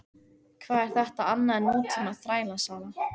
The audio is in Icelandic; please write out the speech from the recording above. Hvað er þetta annað en nútíma þrælasala?